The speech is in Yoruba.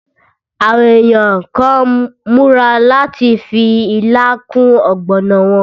Àwọn èèyàn kàn n múra láti fi ilá kún ọ̀gbọ̀nà wọn